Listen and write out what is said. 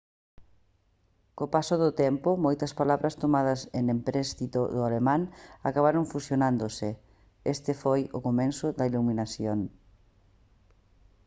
co paso do tempo moitas palabras tomadas en empréstito do alemán acabaron fusionándose este foi o comezo da iluminación